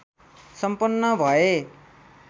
सम्पन्न भए